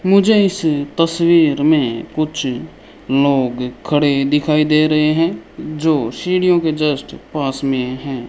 मुझे इस तस्वीर में कुछ लोग खड़े दिखाई दे रहे हैं जो सीढियों के जस्ट पास में हैं।